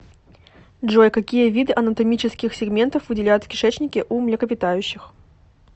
джой какие виды анатомических сегментов выделяют в кишечнике у млекопитающих